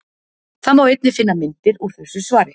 Þar má einnig finna myndir úr þessu svari.